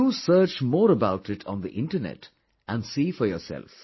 Do search more about it on the internet and see for yourself